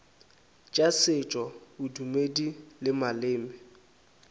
tša setšo bodumedi le maleme